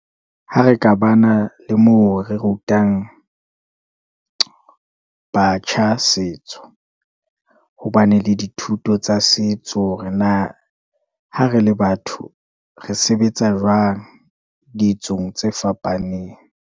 Ha re ka bana le moo re rutang batjha setso hobane le dithuto tsa setso ha re le batho, re sebetsa jwang ditsong tse fapaneng?